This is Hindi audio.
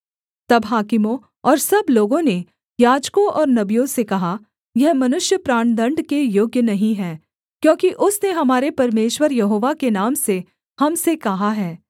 तब हाकिमों और सब लोगों ने याजकों और नबियों से कहा यह मनुष्य प्राणदण्ड के योग्य नहीं है क्योंकि उसने हमारे परमेश्वर यहोवा के नाम से हम से कहा है